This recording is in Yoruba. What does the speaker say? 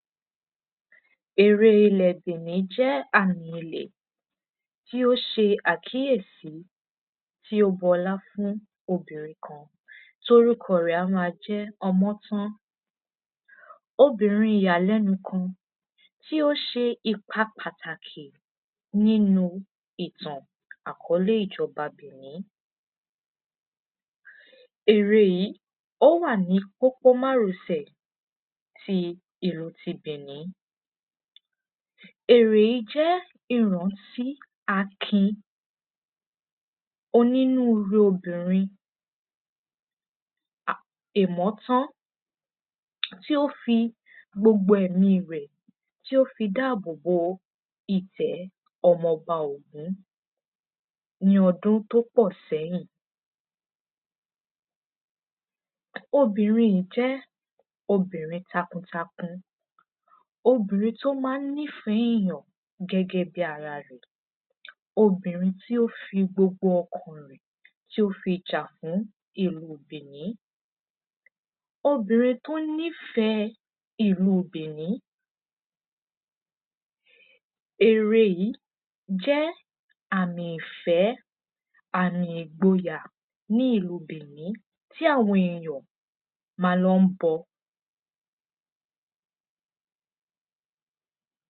ère ilè bìní jẹ́ àmì ilẹ̀ tí ó se àkíyèsí tí ó b'ọlá fún obìnrin kan tí orúkọ ẹ̀ á ma jẹ́ ọmọ́tán obìnrin ìyàlẹ́nu kan tí ó se ipa pàtàkì nínu ìtàn àkọ́lé ìjọba bìní ère yìí, ó wà ní pópó márosẹ̀ ti ìlú ti bìni ère yí jẹ́ ìrántí akin onírurú obìnrin um ìmọ́tán tí ó fi gbogbo ẹ̀míi rẹ̀ tí ó fi dábòbo ìtẹ́ ọmọba ògún ní ọdún tí ó pọ séyìn obìnrin yí jẹ́ obìrin takuntakun obìnrin tí ón má n nîfẹ́ ẹ̀yàn gẹ́gεẹ́ bi ara rẹ̀ obìnrin tí ó fi gbogbo ọkàn an rẹ̀ tí ó fi jà fún ìlúu bìní obìnrin tí ó nîfẹ́ ìlúu bìní ère yí jẹ́ àmì ìfẹ́, àmí ìgboyà, ní ìlúu bìní tí àwọn èyàn, má n lọ bọ